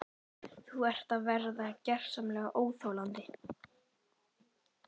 Þú ert að verða gersamlega óþolandi!